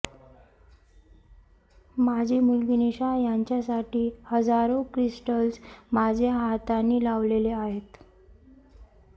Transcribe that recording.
माझी मुलगी निशा यांच्यासाठी हजारो क्रिस्टल्स माझ्या हातांनी लावलेले आहेत